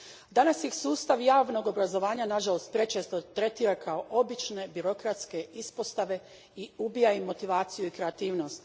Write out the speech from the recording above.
Danas ih sustav javnog obrazovanja nažalost prečesto tretira kao obične birokratske ispostave i ubija im motivaciju i kreativnost.